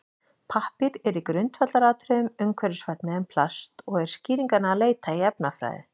Pappír er í grundvallaratriðum umhverfisvænni en plast og er skýringanna að leita í efnafræði.